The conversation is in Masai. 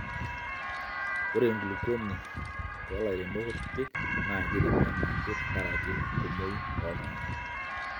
ore enkulupuoni too lairemok kutitik naa kiremi anaake te nkarak enkumoi oltunganak